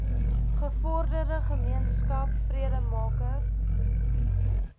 gevorderde gemeenskap vredemaker